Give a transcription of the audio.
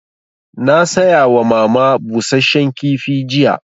Na saya wa mama busasshen kifi jiya